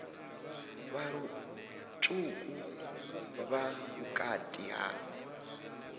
vha lutswuku vha vhukati ha